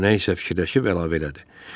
O nə isə fikirləşib əlavə elədi.